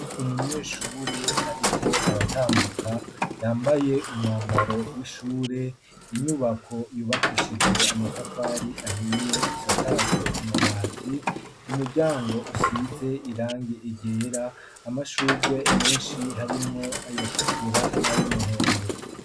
Umunyeshure ariko aratambuka yambaye umwambaro w'ishure inyubako yubakishije amatafari ahiye isakajwe amabati umuryango usize irangi ryera amashugwe menshi harimwo ayatukura n'ayumuhondo.